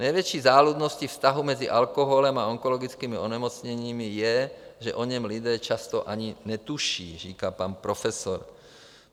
Největší záludností vztahu mezi alkoholem a onkologickými onemocněními je, že o něm lidé často ani netuší, říká pan profesor.